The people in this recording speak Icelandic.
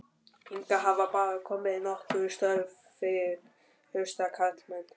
Hingað hafa bara komið nokkur störf fyrir hrausta karlmenn